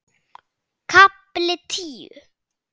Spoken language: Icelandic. KAFLI TÍU